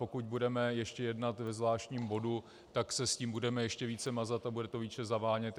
Pokud budeme ještě jednat ve zvláštním bodu, tak se s tím budeme ještě více mazat a bude to více zavánět.